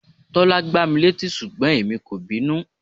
Tọ́lá gbá mi létí ṣùgbọ́n èmi kò bínú.